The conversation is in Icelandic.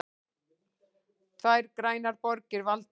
Tvær grænar borgir valdar